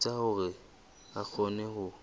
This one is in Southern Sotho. etsa hore a kgone ho